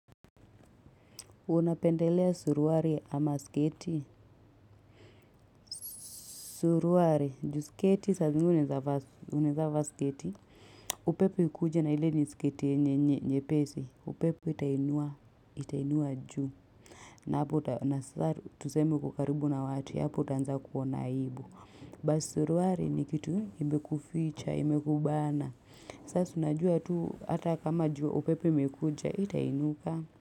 Unapendelea suruali ama sketi. Suruali, nju sketi, sasa zingine unaezavaa sketi. Upepo ikuje na ile ni sketi nyepesi. Upepo itainua juu. Na hapo nasa tuseme uko karibu na watu, hapo utaanza kuona aibu. But suruali ni kitu imekuficha, imekubana. Sasa unajua tu, hata kama juu upepo imekuja, haitainuka.